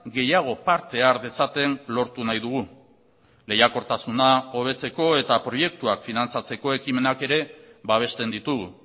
gehiago parte har dezaten lortu nahi dugu lehiakortasuna hobetzeko eta proiektuak finantzatzeko ekimenak ere babesten ditugu